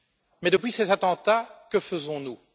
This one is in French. Mais depuis ces attentats, que faisons nous?